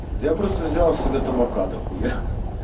я просто взял себе табака дохуя